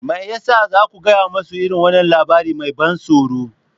Me ya sa za ku gaya musu irin wannan labari mai ban tsoro?